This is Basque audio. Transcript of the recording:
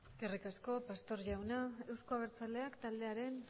eskerrik asko pastor jauna euzko abertzaleak taldearen